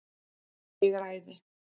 Ég er æði.